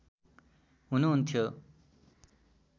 हुनुहुन्थ्यो